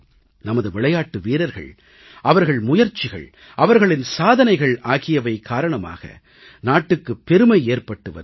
நமது விளையாட்டு வீரர்கள் அவர்கள் முயற்சிகள் அவர்களின் சாதனைகள் ஆகியவை காரணமாக நாட்டுக்கு பெருமை ஏற்பட்டு வருகிறது